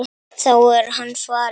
Þá er hann farinn.